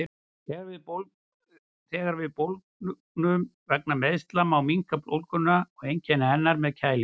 Þegar við bólgnum vegna meiðsla má minnka bólguna og einkenni hennar með að kælingu.